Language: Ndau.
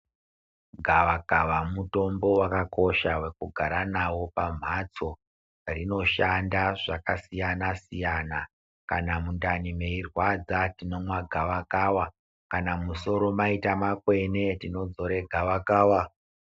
Gava kava mutombo waka kosha weku gara nawo pa mhatso rino shanda zvaka siyana siyana kana mundani meyi rwadza tinomwa gava kava kana musoro maita makwene tinodzora ngava kava.